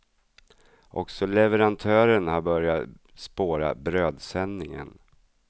Också leverantören har börjat spåra brödsändningen.